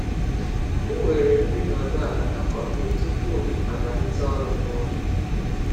M nwere nri nọdụ ala na kọfị tupu m amalite ọrụ m n’ụlọ.